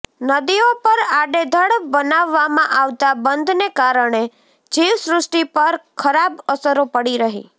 નદીઓ પર આડેધડ બનાવવામાં આવતા બંધને કારણે જીવ સૃષ્ટિ પર ખરાબ અસરો પડી રહી છે